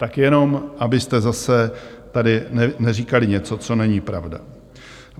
Tak jenom abyste zase tady neříkali něco, co není pravda.